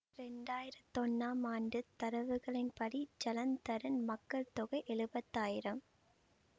இரண்டாயிரத்தி ஒன்னாம் ஆண்டு தரவுகளின் படி ஜலந்தரின் மக்கள் தொகை எழுவத்தாயிரம்